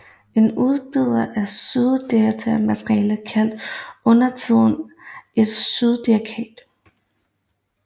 En udbyder af syndikeret materiale kaldes undertiden et syndikat